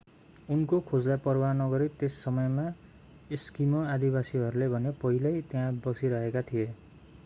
उनको खोजलाई परवाह नगरी त्यस समयमा एस्किमो आदिवासीहरू भने पहिल्यै त्यहाँ बसिरहेका थिए